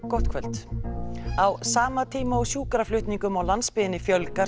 gott kvöld á sama tíma og sjúkraflutningum á landsbyggðinni fjölgar